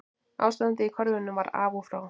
Ástandið í körfunni var af og frá